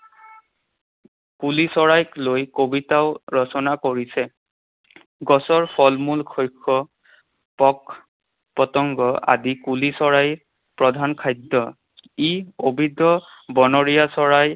কুলি চৰাইক লৈ কবিতাও ৰচনা কৰিছে। গছৰ ফলমূল, শস্য, পোক পতংগ আদি কুলি চৰাইৰ প্ৰধান খাদ্য। ই বনৰীয়া চৰাই।